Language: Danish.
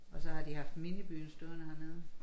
Og så har de haft minibyen stående hernede